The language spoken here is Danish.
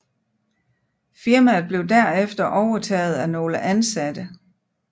Firmaet blev derefter overtaget af nogle ansatte